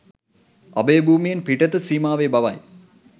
අභයභූමියෙන් පිටත සීමාවේ බවයි.